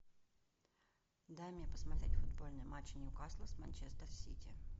дай мне посмотреть футбольный матч ньюкасла с манчестер сити